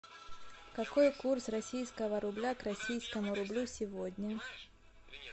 какой курс российского рубля к российскому рублю сегодня